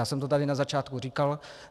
Já jsem to tady na začátku říkal.